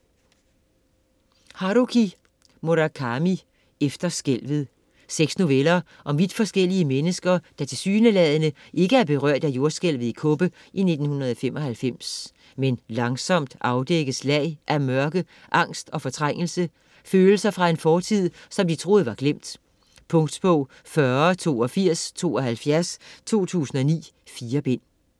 Murakami, Haruki: Efter skælvet Seks noveller om vidt forskellige mennesker, der tilsyneladende ikke er berørt af jordskælvet i Kobe i 1995. Men langsomt afdækkes lag af mørke, angst og fortrængte følelser fra en fortid, som de troede var glemt. Punktbog 408272 2009. 4 bind.